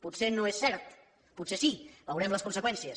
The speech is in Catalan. potser no és cert potser sí en veurem les conseqüències